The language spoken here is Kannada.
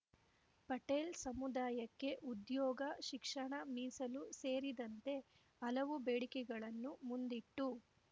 ಪಟೇಲ್‌ ಸಮುದಾಯಕ್ಕೆ ಉದ್ಯೋಗ ಶಿಕ್ಷಣ ಮೀಸಲು ಸೇರಿದಂತೆ ಹಲವು ಬೇಡಿಕೆಗಳನ್ನು ಮುಂದಿಟ್ಟು